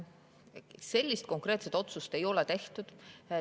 Sellist konkreetset otsust ei ole tehtud.